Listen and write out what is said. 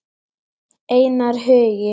Einar Hugi.